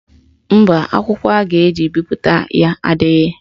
Mba, akwụkwọ a ga-eji bipụta ya adịghị.